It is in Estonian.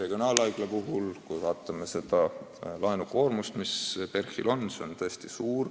Kui me laenukoormust vaatame, siis näeme, et eriti Põhja-Eesti Regionaalhaiglal ehk PERH-il on see tõesti suur.